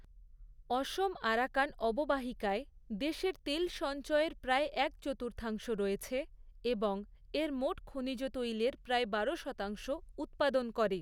অসম Arakan অববাহিকায় দেশের তেল সঞ্চয়ের প্রায় এক চতুর্থাংশ রয়েছে এবং এর মোট খনিজ তৈলর প্রায় বারো শতাংশ উৎপাদন করে।